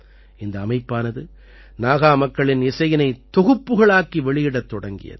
இந்த அமைப்பானது நாகா மக்களின் இசையினை தொகுப்புக்களாக்கி வெளியிடத் தொடங்கியது